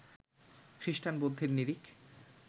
খ্রিস্টান, বৌদ্ধের নিরিখ